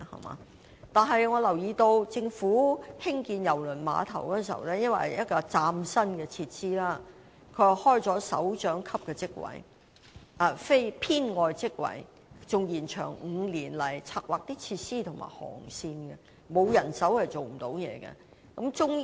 我亦留意到，政府興建郵輪碼頭時，由於是嶄新設施，故開設了首長級職位，而非編外職位，該職位更延長5年，以策劃設施和航線，可見沒有人手是無法成事的。